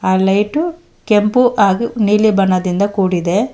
ಆ ಲೈಟು ಕೆಂಪು ಹಾಗೆ ನೀಲಿ ಬಣ್ಣದಿಂದ ಕೂಡಿದೆ.